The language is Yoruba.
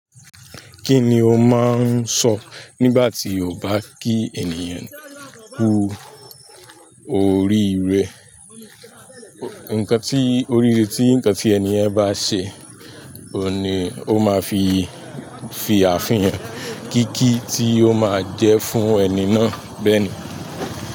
Kí ni o máa ń sọ nígbà tí o bá kí ènìyàn kú oríire? Ikan ti oríire tí eniyen bá ṣe oun ni oma fi fi afin yẹn kiki tí o má je fún ẹni náà bẹ́ẹ̀ni.